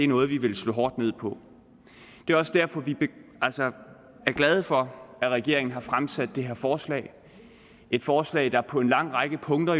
noget vi vil slå hårdt ned på det er også derfor vi er glade for at regeringen har fremsat det her forslag et forslag der på en lang række punkter